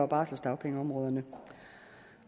og barselsdagpengeområderne